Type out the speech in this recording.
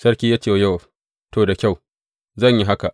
Sarki ya ce wa Yowab, To, da kyau, zan yi haka.